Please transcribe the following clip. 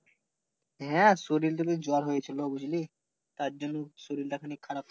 হ্যাঁ শরীর তরির জ্বর হয়েছিলো বুঝলি তার জন্য শরীর টা খানিক খারাপ